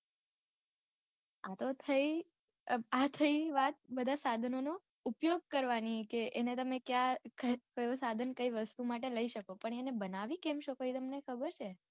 આતો થઈ આ થઇ વાત બધા સાધનો નો ઉપયોગ કરવાની કે એને તમે ક્યાં કયું સાધન કય વસ્તુ માટે લય શકો પણ એને બનાવી કેમ શકો એ તમને ખબર છે?